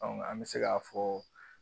an bɛ se ka fɔ